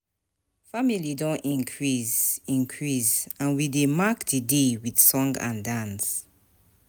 Family don increase, increase, and we dey mark the day with song and dance.